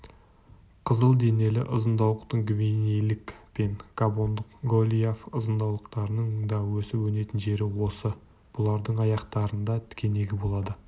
қызыл денелі ызыңдауықтың гвинейлік пен габондық голиаф ызыңдауықтарының да өсіп-өнетін жері осы бұлардың аяқтарында тікенегі болады